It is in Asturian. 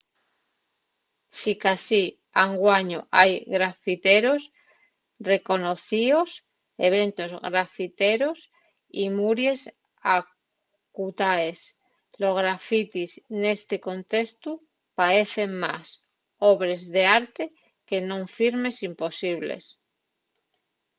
sicasí anguaño hai grafiteros reconocíos eventos grafiteros y muries acutaes los grafitis nesti contestu paecen más obres d'arte que non firmes imposibles